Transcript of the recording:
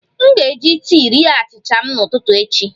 M ga-eji tii rie achịcha m n'ụtụtụ echi